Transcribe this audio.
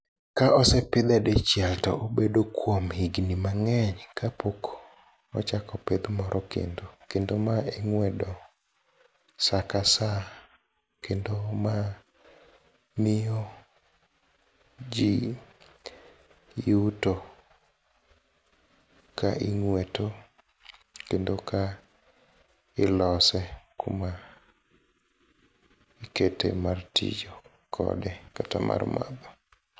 Ka osepidhe dichiel tobedo kuom higni mang'eny kapok ochak opidh moro kendo, kendo mae ing'wedo saa ka saa, kendo ma miyo jii yuto ka ing'weto kendo ka ilose kuma ikete mar tiyo kode kata mar madho.